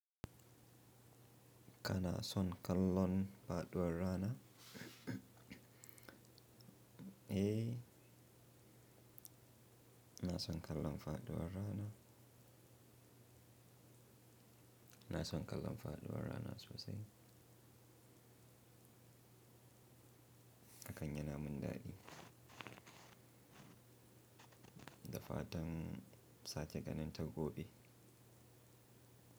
Kana son kallon faɗuwar rana? Eh, ina son kallon faɗuwar rana. Na son kallon faɗuwar rana sosai. Hakan yana mun dadi. Da fatan sake ganin ta gobe.